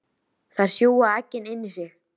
Þær sjúga eggin inn í sig.